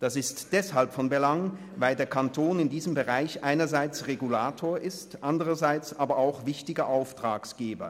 Das ist deshalb von Belang, weil der Kanton in diesem Bereich einerseits Regulator ist, andererseits aber auch wichtiger Auftraggeber.